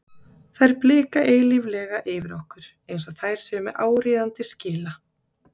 Þær blika eilíflega yfir okkur, eins og þær séu með áríðandi skila